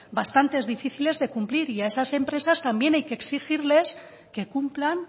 bastante difíciles de cumplir y a esas empresas también hay que exigirles que cumplan